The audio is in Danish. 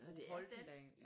Nåh det er dansk!